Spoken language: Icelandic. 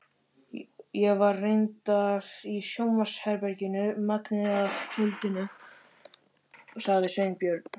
Ég var reyndar í sjónvarpsherberginu megnið af kvöldinu sagði Sveinbjörn.